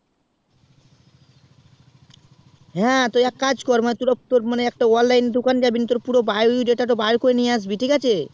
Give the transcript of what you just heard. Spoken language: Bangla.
হ্যাঁ তো তুই এক কাজ কর তুই একটা online এর দুকান জাবি নিয়ে তোর একটা পুরো bio data বেরকরে নিয়ে আসবি ঠিক আছে